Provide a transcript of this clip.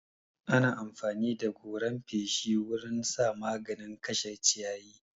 Ana amfani da goran feshi wurin sa maganin kashe ciyayi.